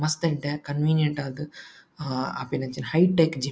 ಮಸ್ತ್ ಎಡ್ಡೆ ಕನ್ವೀನಿಯೆಂಟ್ ಆದ್ ಆ ಆಪಿನಂಚಿ ಹೈಟೆಕ್ ಜಿಮ್ --